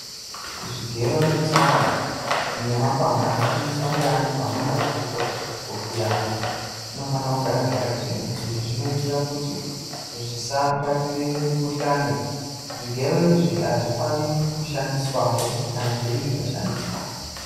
Zvigero netsono nemapanga anoshandiswa ngeandu anamazvikokota kuvhiya antu zvinofana kugara zvakachena. Izvi zvinoitira kuti zvisabatire mikuhlani. Zvigero izvi hazvifaniri kushandiswazve kana zveinge zvashandiswa.